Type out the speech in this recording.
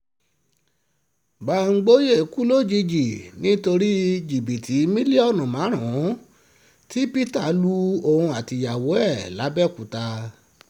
bámgbòyé kú lójijì nítorí jìbìtì mílíọ̀nù márùn-ún tí peter lu òun àtìyàwó ẹ̀ làbẹ́òkúta